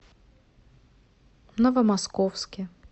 новомосковске